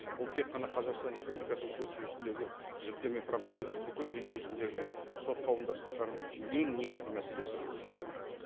бұл тек қана қазақстан республикасының сот жүйесіндегі жүктеме проблема емес бүкіл дүниежүзіндегі сот қауымдастықтарының ең негізгі мәселесі бұл жүктеме